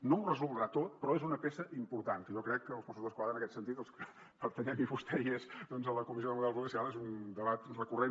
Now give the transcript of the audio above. no ho resoldrà tot però és una peça important que jo crec que els mossos d’esquadra en aquest sentit els que pertanyem i vostès hi és doncs a la comissió de model policial és un debat recurrent